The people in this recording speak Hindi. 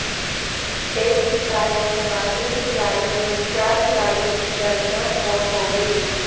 एक ही कार में सवार इन खिलाड़ियों में चार खिलाड़ियों की दर्दनाक मौत हो गई